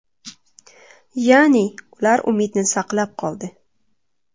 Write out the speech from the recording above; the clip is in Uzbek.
Ya’ni, ular umidni saqlab qoldi.